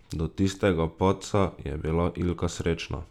Do tistega padca je bila Ilka srečna.